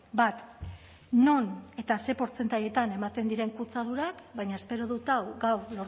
bat non eta ze portzentaietan ematen diren kutsadurak baina espero dut gaur